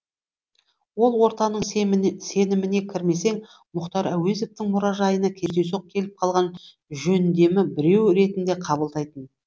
ол ортаның сеніміне кірмесең мұхтар әуезовтің мұражайына кездейсоқ келіп қалған жөндемі біреу ретінде қабылдайтын